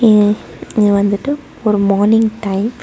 ம் இது வந்துட்டு ஒரு மார்னிங் டைம் .